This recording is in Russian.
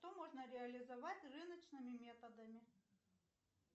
что можно реализовать рыночными методами